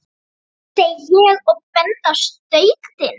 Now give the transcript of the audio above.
segi ég og bendi á stautinn.